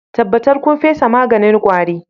Tabbatar kun fesa maganin kwari